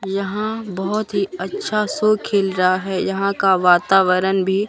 यहां बोहोत ही अच्छा सो खिल रहा है यहां का वातावरण भी--